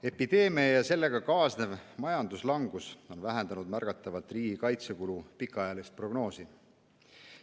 Epideemia ja sellega kaasnev majanduslangus on vähendanud märgatavalt riigikaitsekulude pikaajalist prognoosi.